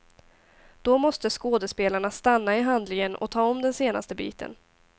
Då måste skådespelarna stanna i handlingen och ta om den senaste biten.